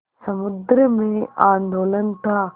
समुद्र में आंदोलन था